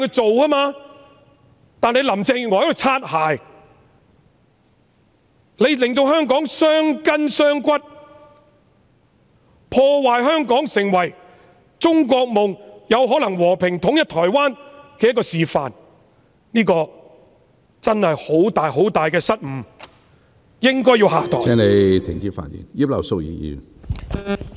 可是，因為林鄭月娥"擦鞋"，令香港傷筋傷骨，破壞香港成為中國夢——有可能成為和平統一台灣的示範的機會，這真是很大的失誤，她應該要下台......